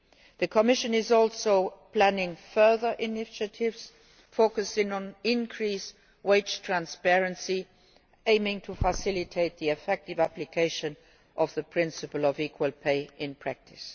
The Commission is also planning further initiatives focusing on increased wage transparency aiming to facilitate the effective application of the principle of equal pay in practice.